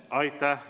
Aitäh!